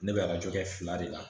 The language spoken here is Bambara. Ne bɛ arajo kɛ fila de la